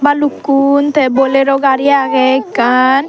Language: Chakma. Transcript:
balukkun te bolero gari age ekkan.